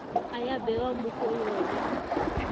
ya bewa mo go yone